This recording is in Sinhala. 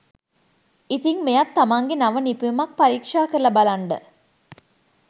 ඉතිං මෙයත් තමන්ගෙ නව නිපැයුමක් පරීක්ෂා කරල බලන්ඩ